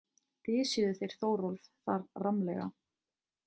Dysjuðu þeir Þórólf þar rammlega.